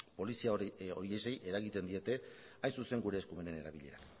polizia horiei eragiten diete hain zuzen ere gure eskumenen erabilerak